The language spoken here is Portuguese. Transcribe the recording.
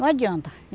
Não adianta.